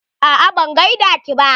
Aa ban gaida ke ba.